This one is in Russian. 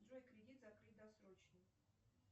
джой кредит закрыть досрочно